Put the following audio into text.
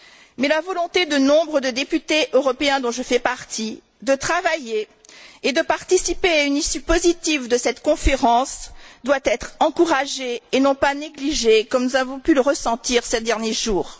Mais la volonté de nombre de députés européens, dont je fais partie, de travailler et de participer à une issue positive de cette conférence doit être encouragée et non pas négligée comme nous avons pu le ressentir ces derniers jours.